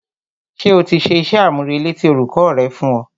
Ṣé o ti ṣe iṣẹ́-àmúrelé tí olùkọ́ rẹ fún ọ?